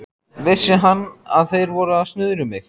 Vissi hann, að þeir væru að snuðra um mig?